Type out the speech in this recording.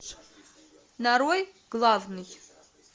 нарой главный